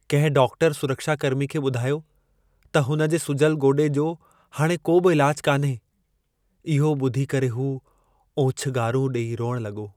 कंहिं डाक्टर सुरक्षाकर्मी खे ॿुधायो त हुन जे सुॼल गोॾे जो हाणे को बि इलाज कान्हे। इहो ॿुधी करे हू ओछंगारूं डे॒ई रोइणु लॻो।